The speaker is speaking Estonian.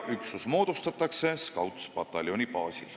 Üksus moodustatakse Scoutspataljoni baasil.